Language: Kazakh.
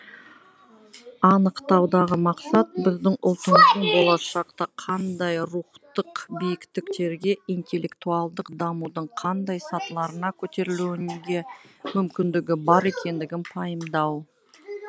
анықтаудағы мақсат біздің ұлтымыздың болашақта қандай рухтық биіктіктерге интеллектуалдық дамудың қандай сатыларына көтерілуге мүмкіндігі бар екендігін пайымдау